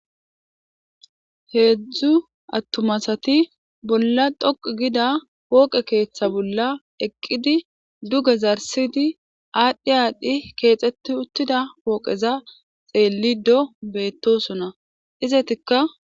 Heedzdzu atumma asati bola dhoqu gida poqe keeththa bola eqidi duge zarisidi adhi adhi kexeti utiza poqeza xelido betosona izetika.